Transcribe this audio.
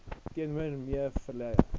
teenoor me vuyelwa